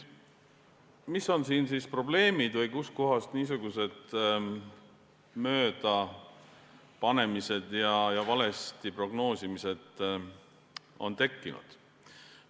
Mis on siin probleemid või kust kohast niisugused möödapanemised ja valesti prognoosimised on tekkinud?